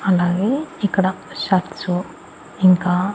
అలాగే ఇక్కడ షర్ట్స్ ఇంకా--